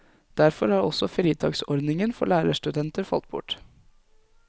Derfor har også fritaksordningen for lærerstudenter falt bort.